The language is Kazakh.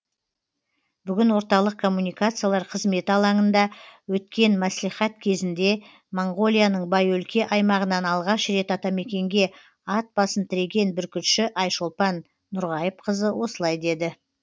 бүгін орталық коммуникациялар қызметі алаңында өткен мәслихат кезінде моңғолияның бай өлке аймағынан алғаш рет атамекенге ат басын тіреген бүркітші айшолпан нұрғайыпқызы осылай деді